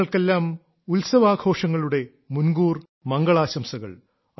നിങ്ങൾക്കെല്ലാം ഉത്സവാഘോഷങ്ങളുടെ മുൻകൂർ മംഗളാംശംസകൾ